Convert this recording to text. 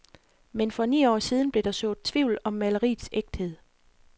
Men for ni år siden blev der sået tvivl om maleriets ægthed.